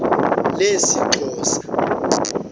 lesixhosa